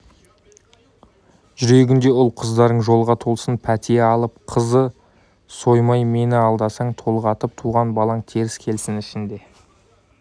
жүргенде ұл-қыздарың жолға толсын пәтия алып қозы соймай мені алдасаң толғатып туған балаң теріс келсін ішінде